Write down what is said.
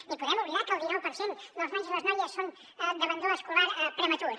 ni podem oblidar que el dinou per cent dels nois i les noies són d’abandonament escolar prematur